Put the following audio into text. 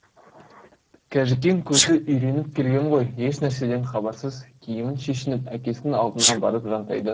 қажікен көзі үйреніп келген ғой еш нәрседен хабарсыз киімін шешініп әкесінің алдына барып жантайды